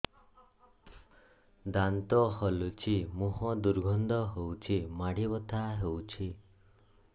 ଦାନ୍ତ ହଲୁଛି ମୁହଁ ଦୁର୍ଗନ୍ଧ ହଉଚି ମାଢି ବଥା ହଉଚି